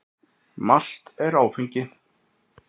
Malt er áfengt.